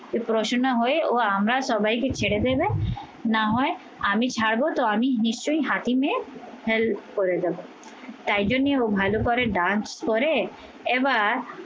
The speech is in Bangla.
পড়াশোনা হয়ে ও আমরা সবাইকে ছেড়ে দেবে না হয় আমি ছাড়বো তো আমি নিশ্চয়ই হাকিমে help করে দেবো। তাই জন্যে ও ভালো করে dance করে এবার